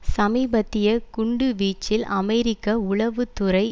சமீபத்திய குண்டுவீச்சில் அமெரிக்க உளவு துறை